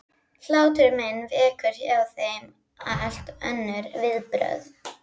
Hlátur minn vekur hjá þeim allt önnur viðbrögð.